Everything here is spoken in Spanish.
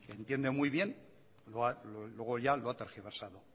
entiendo muy bien luego ya lo ha tergiversado